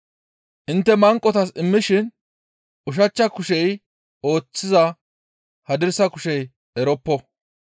Intte manqotas immishin ushachcha kushey ooththizaa hadirsa kushey eroppo.